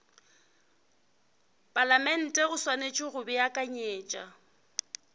palamente o swanetše go beakanyetša